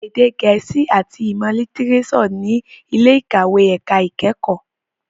Èdè gẹ̀ẹ́sì àti ìmọ̀ lítírésọ̀ ní ilé ìkàwé ẹ̀ka ìkẹ́kọ̀ọ́.